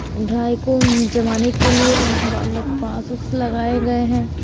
Dry कुंड जमाने के लिए बालक पासेस लगाए गऐ हैं।